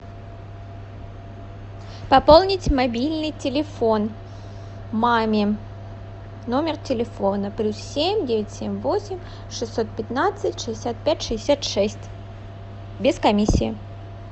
пополнить мобильный телефон маме номер телефона плюс семь девять семь восемь шестьсот пятнадцать шестьдесят пять шестьдесят шесть без комиссии